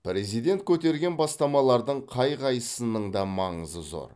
президент көтерген бастамалардың қай қайсысының да маңызы зор